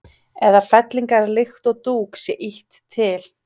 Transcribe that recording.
eða fellingar líkt og dúk sé ýtt til.